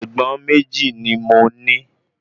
Ègbọ́n méjì ni mo ní